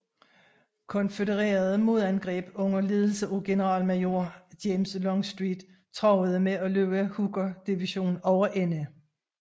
Konfødererede modangreb under ledelse af generalmajor James Longstreet truede med at løbe Hooker division over ende